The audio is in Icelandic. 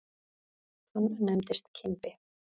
Hann nefndist Kimbi.